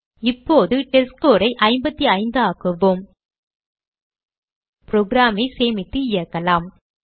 இப்போது testScore ஐ 55 ஆக்குவோம் program ஐ சேமித்து இயக்கலாம்